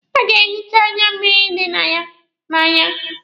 A ga-ehicha ya anya mmịrị dị ya n'anya.